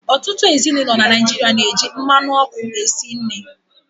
Ọtụtụ ezinụlọ na Naịjirịa na-eji mmanụ ọkụ esi nri.